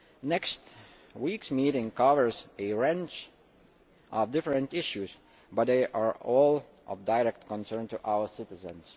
Next week's meeting covers a range of different issues, but they are all of direct concern to our citizens.